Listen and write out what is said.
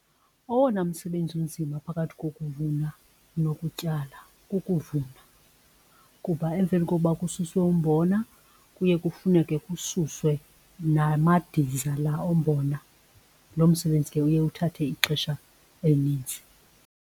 Owona msebenzi unzima phakathi kokuvuna nokutyala kukuvuna kuba emveni koba kususwe umbona kuye kufuneke kususwe namadiza la ombona. Lo msebenzi ke uye uthathe ixesha elininzi.